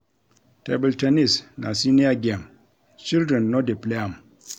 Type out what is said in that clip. Table ten nis na senior game, children no dey play am